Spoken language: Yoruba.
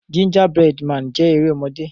Gingerbread Man jé erémọdé.